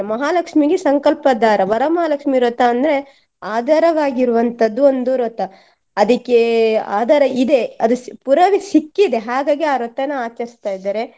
ಮಹಾಲಕ್ಷ್ಮಿಗೆ ಸಂಕಲ್ಪ ದಾರ ವರಮಹಾಲಕ್ಷ್ಮಿವ್ರತ ಅಂದ್ರೆ ಆಧಾರವಾಗಿರುವಂತದ್ದು ಒಂದು ವ್ರತ ಅದಕ್ಕೇ ಆಧಾರ ಇದೆ ಅದು ಪುರಾವೆ ಸಿಕ್ಕಿದೆ ಹಾಗಾಗಿ ಆ ವ್ರತನ ಆಚರಿಸ್ತಾ ಇದ್ದಾರೆ.